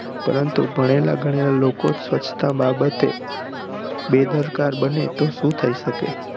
પરંતુ ભણેલા ગણેલા લોકો સ્વચ્છતા બાબતે બેદરકાર બને તો શું થઈ શકે